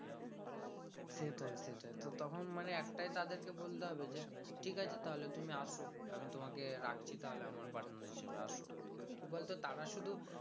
সেটাই সেটাই তো তখন মানে একটাই তাদের কে বলতে হবে যে ঠিক আছে তাহলে তুমি আসো আমি তোমাকে রাখছি তাহলে আমার partner হিসেবে আসো তো কি বলতো তারা শুধু